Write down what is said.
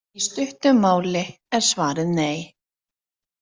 Í stuttu máli er svarið nei.